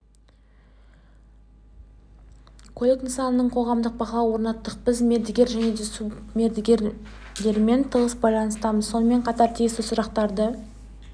көлік нысанына қоғамдық бақылау орнаттық біз мердігер және субмердігерлермен тығыз байланыстамыз сонымен қатар тиісті сұрақтарды